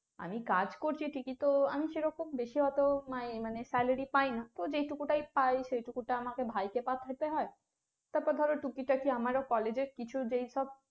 আমি কাজ করছি ঠিকই তো আমি সেরকম বেশি অত মানে মানে salary পাই না, তো যেটুকু টাই পাই সেটুকুটা আমাকে ভাইকে পাঠাতে হয়, তারপর ধরো টুকিটাকি আমারও college র কিছু যেই সব